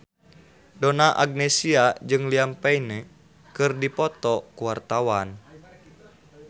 Donna Agnesia jeung Liam Payne keur dipoto ku wartawan